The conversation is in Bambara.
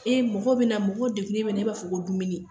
Ee mɔgɔw be na ,mɔgɔw dekunnen e b'a fɔ ko dumuni.